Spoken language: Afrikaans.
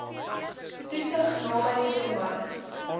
toesig naby swembaddens